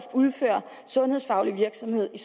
udfører sundhedsfaglig virksomhed